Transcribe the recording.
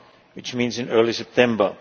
round, which means in early September.